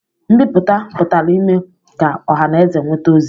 Nbipụta pụtara ime ka ọha na eze nweta ozi